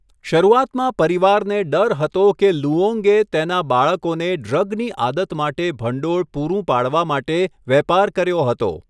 શરૂઆતમાં પરિવારને ડર હતો કે લુઓંગે તેના બાળકોને ડ્રગની આદત માટે ભંડોળ પૂરું પાડવા માટે વેપાર કર્યો હતો.